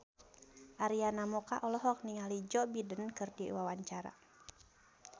Arina Mocca olohok ningali Joe Biden keur diwawancara